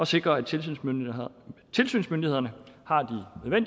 sikre at tilsynsmyndighederne tilsynsmyndighederne har